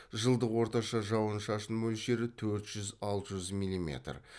жылдық орташа жауын шашын мөлшері төрт жүз алты жүз милиметр